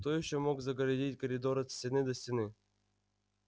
кто ещё мог загородить коридор от стены до стены